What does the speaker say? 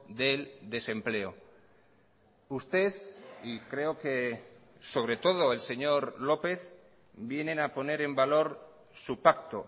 del desempleo usted y creo que sobre todo el señor lópez vienen a poner en valor su pacto